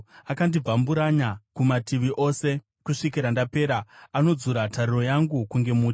Anondibvamburanya kumativi ose kusvikira ndapera; anodzura tariro yangu kunge muti,